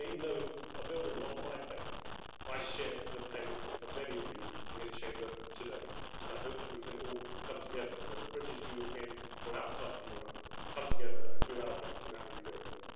And even though it's a building not of my faith, I share the pain of many of you in this Chamber today and I hope that we can all come together, whether British, European or from outside Europe, come together and do our bit in that rebuilding.